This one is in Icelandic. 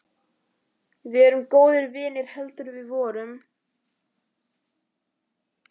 Við erum góðir vinir heldur við vorum.